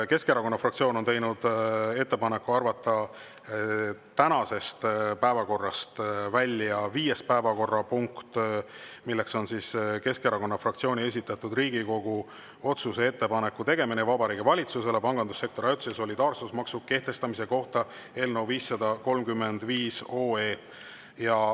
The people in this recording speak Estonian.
Keskerakonna fraktsioon on teinud ettepaneku arvata tänasest päevakorrast välja viies päevakorrapunkt, Keskerakonna fraktsiooni esitatud Riigikogu otsuse "Ettepaneku tegemine Vabariigi Valitsusele pangandussektori ajutise solidaarsusmaksu kehtestamise kohta" eelnõu 535 arutelu.